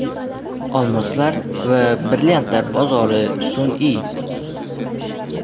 Olmoslar va brilliantlar bozori sun’iy.